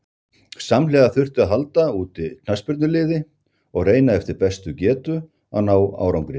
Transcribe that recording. Samhliða þurfti að halda úti knattspyrnuliði og reyna eftir bestu getu að ná árangri.